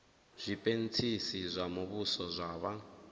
zwipentsisi zwa muvhuso zwa vha